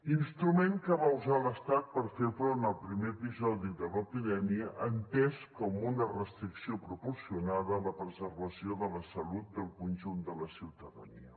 instrument que va usar l’estat per fer front al primer episodi de l’epidèmia entès com una restricció proporcionada per a la preservació de la salut del conjunt de la ciutadania